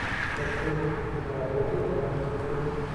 хочу увидеть киноработу жанра мультфильм